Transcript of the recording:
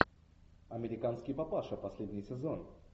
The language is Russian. американский папаша последний сезон